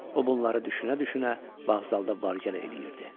O bunları düşünə-düşünə vağzalda var-gəl eləyirdi.